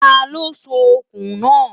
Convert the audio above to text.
tá ló sọ òkun na?